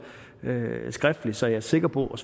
skriftligt så jeg er sikker på at